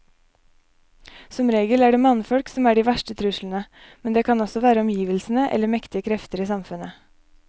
Som regel er det mannfolk som er de verste truslene, men det kan også være omgivelsene eller mektige krefter i samfunnet.